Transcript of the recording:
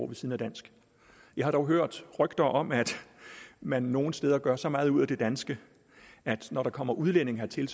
ved siden af dansk jeg har dog hørt rygter om at man nogle steder gør så meget ud af det danske at når der kommer udlændinge hertil